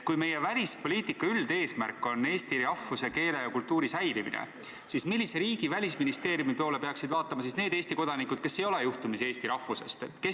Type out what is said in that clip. Kui meie välispoliitika üldeesmärk on eesti rahvuse, keele ja kultuuri säilimine, siis mis riigi välisministeeriumi poole peaksid vaatama need Eesti kodanikud, kes ei ole juhtumisi eesti rahvusest?